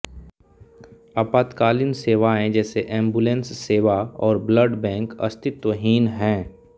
आपातकालीन सेवाएं जैसे एम्बुलेंस सेवा और ब्लड बैंक अस्तित्वहीन हैं